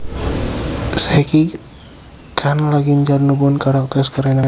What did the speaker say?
Saiki Khan lagi njalin hubungan karo aktris Kareena Kapoor